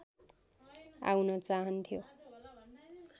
आउन चाहन्थ्यो